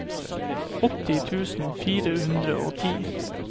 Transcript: åtti tusen fire hundre og ti